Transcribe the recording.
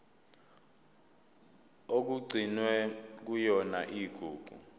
okugcinwe kuyona igugu